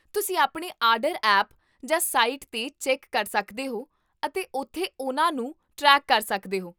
ਤੁਸੀਂ ਆਪਣੇ order app ਜਾਂ ਸਾਈਟ 'ਤੇ ਚੈੱਕ ਕਰ ਸਕਦੇ ਹੋ ਅਤੇ ਉੱਥੇ ਉਹਨਾਂ ਨੂੰ ਟ੍ਰੈਕ ਕਰ ਸਕਦੇ ਹੋ